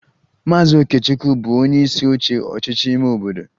Maazị Okechukwu bụbu onyeisi oche ọchịchị ime obodo